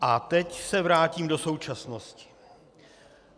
A teď se vrátím do současnosti.